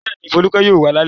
Bẹ́ẹ̀ni, Folúkẹ́ yóò wá lálẹ́.